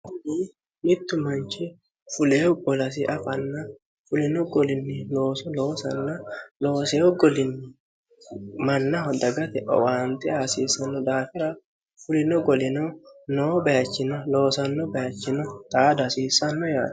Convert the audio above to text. mittu manchi fuleewu bolasi afanna fulino golinni looso loosanna looseeyo golinni mannaho dagate owaanti hasiissanno daafira fulino golino noo bayichino loosanno bayachino xaada hasiissanno yaati